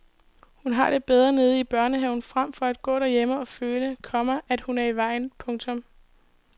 Hun har det bedre nede i børnehaven frem for at gå derhjemme og føle, komma at hun er i vejen. punktum